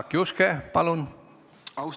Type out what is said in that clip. Jaak Juske, palun!